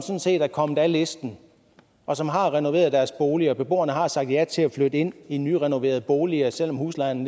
set er kommet af listen og som har renoveret deres boliger beboerne har sagt ja til at flytte ind i nyrenoverede boliger selv om huslejen